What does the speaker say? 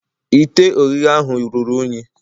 Ite Oghihe ahu ruru unyi.